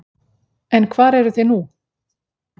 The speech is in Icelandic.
En hvar eruð þið nú?